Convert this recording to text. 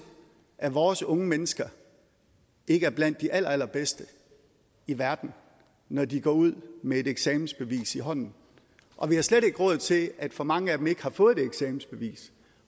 at vores unge mennesker ikke er blandt de allerallerbedste i verden når de går ud med et eksamensbevis i hånden og vi har slet ikke råd til at for mange af dem ikke har fået det eksamensbevis